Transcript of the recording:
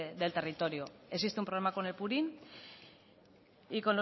del territorio existe un problema con el purín y